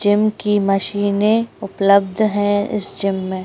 Gym की मशीनें उपलब्ध है इस जिम में।